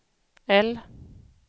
L